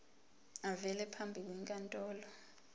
avele phambi kwenkantolo